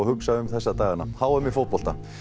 hugsa um þessa dagana h m í fótbolta